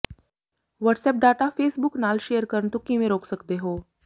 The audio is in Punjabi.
ਵਟਸਐਪ ਡਾਟਾ ਫ਼ੇਸਬੁਕ ਨਾਲ ਸ਼ੇਅਰ ਕਰਨ ਤੋਂ ਕਿਵੇਂ ਰੋਕ ਸਕਦੇ ਹੋ